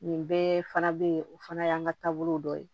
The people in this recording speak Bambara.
Nin bɛɛ fana be yen o fana y'an ka taabolo dɔ ye